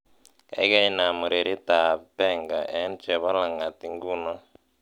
gaigai inaam ureryrt ab benga en chebo lang'at ingunon